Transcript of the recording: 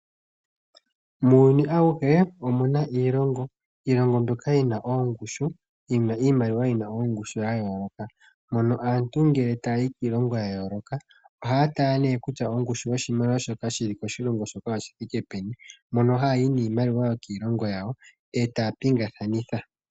Muuyuni awuhe omu na iilongo, iilongo mbyoka yi na oongushu yi na iimaliwa yi na ongushu ya yooloka mono aantu ngele taya yi kiilongo ya yooloka oha ya tala ne kutya ongushu yoshimaliwa shoka shili koshilongo shoka oyi thike peni mono ha yayi niimaliwa yokiilongo yawo e taya pingakanitha.